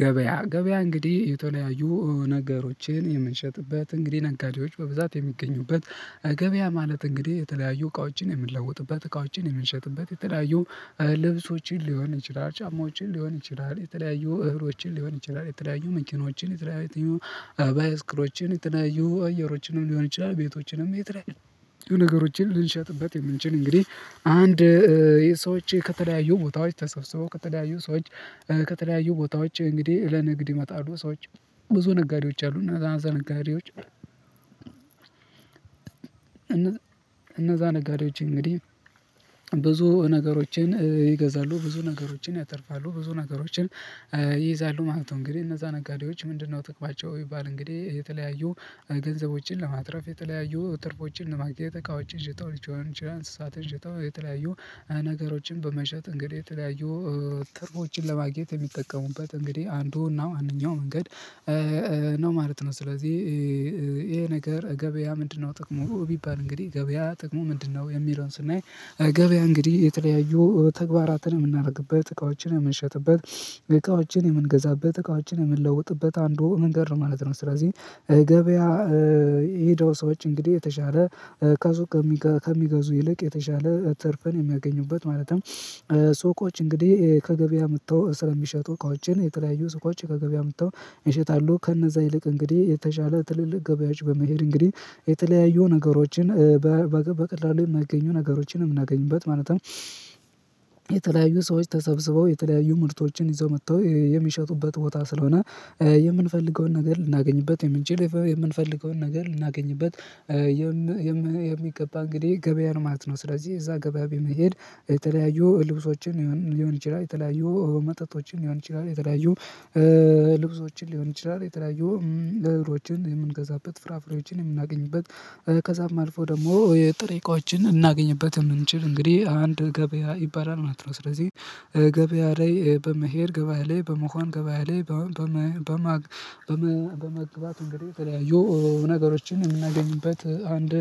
ገበያ ገበያ እንግዲህ የተለያዩ ነገሮችን የምንሸጥበት እንግዲህ ነጋዴዎች በብዛት የሚገኙበት እገበያ ማለት እንግዲህ የተለያዩ እቃውጪን የምንለውጥበት እቃውጪን የምንሸጥበት የተለያዩ ልብሶችን ሊሆን ይችላል ጫማዎችን ሊሆን ይችላል የተለያዩ እህሎችን ሊሆን ይችላል የተለያዩ መኪኖችን የተለያዩ ባይስክሮችን የተለያዩ አየሮችን ሊሆን ይችላል ቤቶችንም የተለያዩ የሆነ ነገሮችን ልንሸጥበት የምንችል እንግዲህ አንድ ሰዎች ከተለያዩ ቦታዎች ተሰብስበው ከተለያዩ ሰዎች ከተለያዩ ቦታዎች እንግዲህ ለንግድ ይመጣሉ ሰዎች ብዙ ነጋዴዎች አሉ እና እነዛ ነጋዴዎች እነዛ ነጋዴዎች እንግዲህ ብዙ ነገሮችን ይገዛሉ ብዙ ነገሮችን ያተርፋሉ ብዙ ነገሮችን ይይዛሉ ማለት ነው። እንግዲህ እነዛ ነጋዴዎች ምንድነው ጥቅማቸው ይባል እንግዲህ የተለያዩ ገንዘቦችን ለማትረፍ የተለያዩ ትርፎችን ለማግኘት እቃዎችን ሽጠው ሊሆን ይችላል እንስሳትን ሽጠው የተለያዩ ነገሮችን በመሸጥ እንግዲህ የተለያዩ ትርፎችን ለማግኘት የሚጠቀሙበት እንግዲህ አንዱና አንደኛው መንገድ ነው ማለት ነው። ስለዚህ ይሄ ነገር ገበያ ምንድነው ጥቅሙ ቢባል እንግዲህ ገበያ ጥቅሙ ምንድነው? የሚለውን ስናይ ገበያ እንግዲህ የተለያዩ ተግባራትን የምናደርግበት እቃዎችን የምንሸጥበት እቃዎችን የምንገዛበት እቃዎችን የምንለውጥበት አንዱ መንገድ ነው ማለት ነው። ስለዚህ ገበያ የሄደው ሰዎች አጭ እንግዲህ የተሻለ ከሱቅ ከሚገዙ ይልቅ የተሻለ ትርፍን የሚያገኙበት ማለትም ሱቆች እንግዲህ ከገበያ አምጥተው ስለሚሸጡ እቃዎችን የተለያዩ ሱቆች ከገበያ አምጥተው ይሸጣሉ ከነዛ ይልቅ እንግዲህ የተሻለ ትልልቅ ገበያዎች በመሄድ እንግዲህ የተለያዩ ነገሮችን በቀላሉ የማይገኙ ነገሮችን የምናገኝበት ማለት ነው። የተለያዩ ሰዎች ተሰብስበው የተለያዩ ምርቶችን ይዘው መጥተው የሚሸጡበት ቦታ ስለሆነ የምንፈልገውን ነገር ልናገኝበት የምንችል የምንፈልገውን ነገር ልናገኝበት የሚገባ እንግዲህ ገበያ ማለት ነው። ስለዚህ እዛ ገበያ በመሄድ የተለያዩ ልብሶችን ሊሆን ይችላል የተለያዩ መጠጦችን ሊሆን ይችላል የተለያዩ ልብሶችን ሊሆን ይችላል የተለያዩ እህሎችን የምንገዛበት ፍራፍሬዎችን የምናገኝበት ከዛም አልፎ ደግሞ የጥሬ እቃዎችን እናገኝበት የምንችል እንግዲህ አንድ ገበያ ይባላል። እናት ነው ስለዚህ ገበያ ላይ በመሄድ ገበያ ላይ በመሆን ገበያ ላይ በመመግበር በመግባት እንግዲህ የተለያዩ ነገሮችን የምናገኝበት አንድ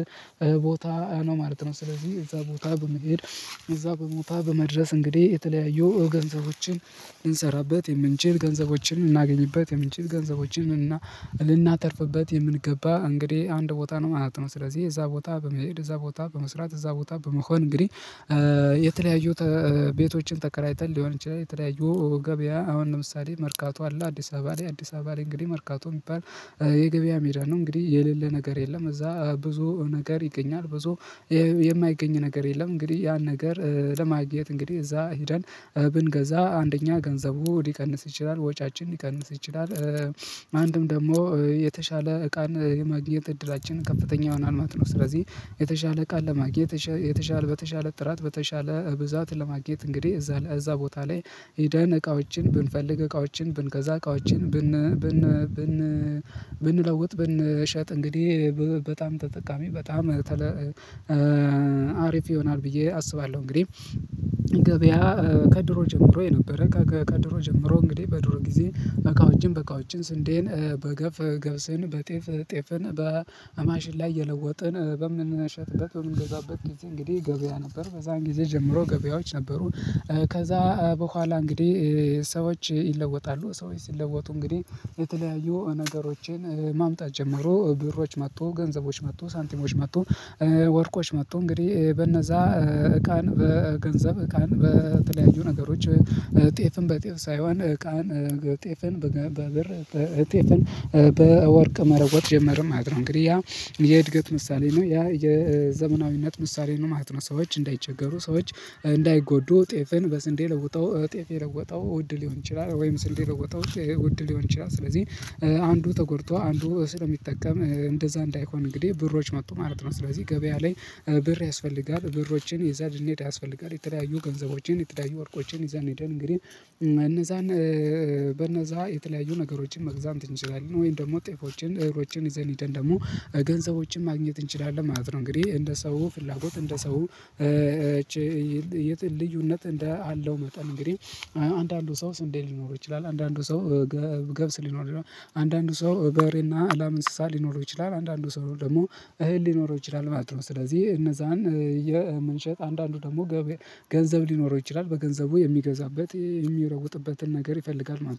ቦታ ነው ማለት ነው። ስለዚህ እዛ ቦታ በመሄድ እዛ በሞታ በመድረስ እንግዲህ የተለያየው ገንዘቦችን እንሰራበት የምንችል ገንዘቦችን እናገኝበት የምንችል ገንዘቦችን እና ልናተርፍበት የምንገባ እንግዲህ አንድ ቦታ ነው ማለት ነው። ስለዚህ እዛ ቦታ በመሄድ እዛ ቦታ በመስራት እዛ ቦታ በመሆን እንግዲህ የተለያዩት ቤቶችን ተከራይተን ሊሆን ይችላል የተለያዩ ገበያ አሁን ለምሳሌ መርካቶ አለ አዲስ አበባ ላይ አዲስ አበባ ላይ እንግዲህ መርካቶ የሚባል የገበያ ሜዳ ነው። እንግዲህ የሌለ ነገር የለም እዛ ብዙ ነገር ይገኛል። ብዙ የማይገኝ ነገር የለም። እንግዲህ ያን ነገር ለማግኘት እንግዲህ እዛ ሄደን ብንገዛ አንደኛ ገንዘቡ ሊቀንስ ይችላል ወጪያችን ሊቀንስ ይችላል ማንም ደግሞ የተሻለ እቃን የማግኘት እድላችን ከፍተኛ ይሆናል ማለት ነው። ስለዚህ የተሻለ እቃ ለማግኘት የተሻለ በተሻለ ጥራት በተሻለ ብዛት ለማግኘት እንግዲህ እዛ እዛ ቦታ ላይ ሄደን እቃዎችን ብንፈልግ እቃዎችን ብንገዛ እቃዎችን ብን ብን ብን ብን ብን ብንለውጥ ብንሸጥ እንግዲህ በጣም ተጠቃሚ በጣም አሪፍ ይሆናል ብዬ አስባለሁ። እንግዲህ ገበያ ከድሮ ጀምሮ የነበረ ከድሮ ጀምሮ እንግዲህ በድሮ ጊዜ እቃዎችን በቃዎችን ስንዴን በገብስ ገብስን በጤፍ ጤፍን በአማሽላ እየለወጥን በምንነሸጥበት በምንገዛበት ጊዜ እንግዲህ ገበያ ነበር በዛን ጊዜ ጀምሮ ገበያዎች ነበሩ። ከዛ በኋላ እንግዲህ ሰዎች ይለወጣሉ ሰዎች ሲለወጡ እንግዲህ የተለያዩ ነገሮችን ማምጣት ጀመሩ ብሮች መጥቶ ገንዘቦች መጥቶ ሳንቲሞች መጥቶ ወርቆች መጥቶ እንግዲህ በነዛ እቃን በገንዘብ እቃን በተለያዩ ነገሮች ጤፍን በጤፍ ሳይሆን እቃን ጤፍን በገን በብር በጤፍን በወርቅ መለወጥ ጀመርን ማለት ነው። እንግዲህ ያ የእድገት ምሳሌ ነው ያ የዘመናዊነት ምሳሌ ነው ማለት ነው። ሰዎች እንዳይቸገሩ ሰዎች እንዳይጎዱ ጤፍን በስንዴ ለውጠው ጤፍ የለወጠው ውድ ሊሆን ይችላል ወይም ስንዴ ለውጠው ውድ ሊሆን ይችላል ስለዚህ አንዱ ተጎድቶ አንዱ ስለሚጠቀም እንደዛ እንዳይሆን እንግዲህ ብሮች መጡ ማለት ነው። ስለዚህ ገበያ ላይ ብር ያስፈልጋል ብሮችን ይዘን ሊንሄድ ያስፈልጋል። የተለያዩ ገንዘቦችን የተለያዩ ወርቆችን ይዘን ሄደን እንግዲህ እነዛን በእነዛ የተለያዩ ነገሮችን መግዛም ትችላለን ወይም ደግሞ ጤፎችን እህሎችን ይዘን ሄደን ደግሞ ገንዘቦችን ማግኘት እንችላለን ማለት ነው። እንግዲህ እንደ ሰው ፍላጎት እንደ ሰው ልዩነት እንደ አለው መጠን እንግዲህ አንዳንዱ ሰው ስንዴ ሊኖር ይችላል አንዳንዱ ሰው ገብስ ሊኖር ነው አንዳንዱ ሰው በሬና ላም እንስሳ ሊኖረው ይችላል አንዳንዱ ሰው ደግሞ እህል ሊኖረው ይችላል ማለት ነው። ስለዚህ እነዛን የምንሸጥ አንዳንዱ ደግሞ ገንዘብ ሊኖረው ይችላል በገንዘቡ የሚገዛበት የሚረውጥበትን ነገር ይፈልጋል ማለት ነው